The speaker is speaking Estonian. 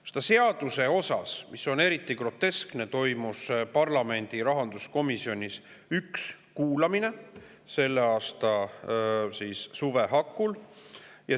Eriti groteskne on see, et selle seaduse puhul toimus parlamendi rahanduskomisjonis selle aasta suve hakul üks kuulamine.